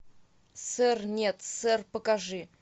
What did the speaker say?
сэр нет сэр покажи